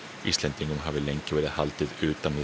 Íslendingum hafi lengi verið haldið utan við